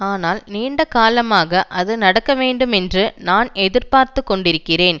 ஆனால் நீண்ட காலமாக அது நடக்க வேண்டுமென்று நான் எதிர்பார்த்து கொண்டிருக்கிறேன்